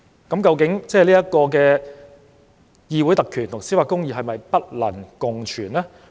究竟議會特權與司法公義是否不能共存？